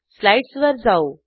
स्लाईडसवर जाऊ